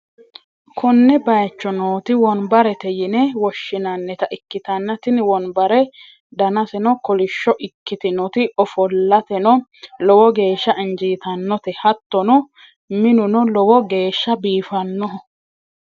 konne bayicho nooti wonbarte yine woshshi'nannita ikkitanna, tini wonbare danaseno kolishsho ikkitinoti ofolateno lowo geehsha injiitannote, hattono minuno lowo geehsha biifannoho.